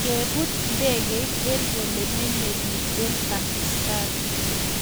Kepuut ndekeit eng olemenyee piik eng pakistan